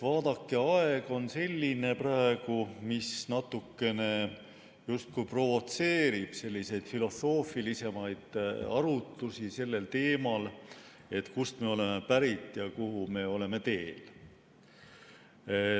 Vaadake, aeg on praegu selline, mis natukene justkui provotseerib selliseid filosoofilisemaid arutlusi sellel teemal, et kust me oleme pärit ja kuhu me oleme teel.